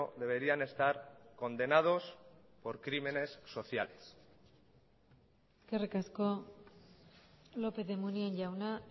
deberían estar condenados por crímenes sociales eskerrik asko lópez de munain jauna